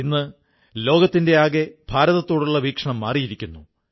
ഇന്ന് ലോകത്തിന്റെയാകെ ഭാരതത്തോടുള്ള വീക്ഷണം മാറിയിരിക്കുന്നു